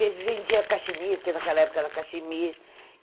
Vendia cachimiri, que naquela época era cachimiri.